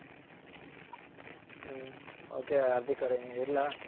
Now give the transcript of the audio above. ಹ್ಮ್ ok Hardik ಅವ್ರೆ ಇಡ್ಲ.